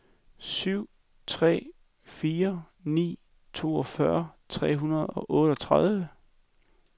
syv tre fire ni toogfyrre tre hundrede og otteogtredive